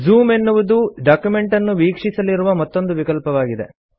zoom ಎನ್ನುವುದು document ಅನ್ನು ವೀಕ್ಷಿಸಲಿರುವ ಮತ್ತೊಂದು ವಿಕಲ್ಪವಾಗಿದೆ